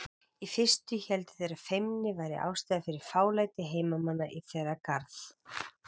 Í fyrstu héldu þeir að feimni væri ástæðan fyrir fálæti heimamanna í þeirra garð.